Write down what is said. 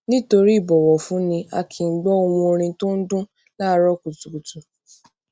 nítorí ìbọwọfúnni a kì í gbó ohùn orin tó ń dún láàárọ kùtùkùtù